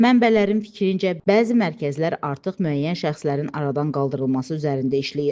Mənbələrin fikrincə, bəzi mərkəzlər artıq müəyyən şəxslərin aradan qaldırılması üzərində işləyir.